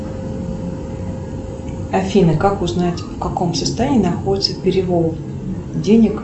афина как узнать в каком состоянии находится перевод денег